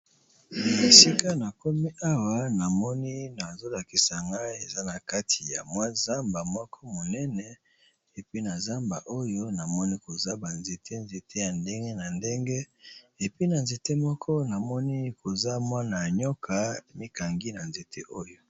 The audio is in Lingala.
Esika na komi awa namoni na zolakisa nga eza na kati ya mwa zamba moko monene epi na zamba oyo namoni koza banzete nzete ya ndenge na ndenge epi na nzete moko namoni koza mwana ya nyoka mikangi na nzete oyo.